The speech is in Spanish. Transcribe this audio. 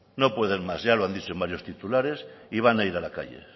no pueden más ya lo han dicho en varios titulares y van a ir a la calle